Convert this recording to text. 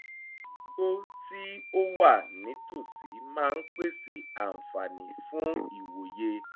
igbó tí ó wà ní tòsí máa ń pèsè àǹfààní fún ìrìn ìwòye